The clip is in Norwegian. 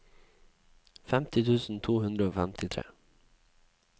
femti tusen to hundre og femtitre